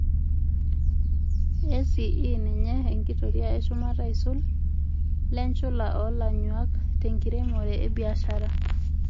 ACE ninye enkitoria eshumata aisul lenchula oolanyuak tenkiremore ebiashara.